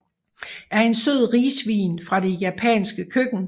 er en sød risvin fra det japanske køkken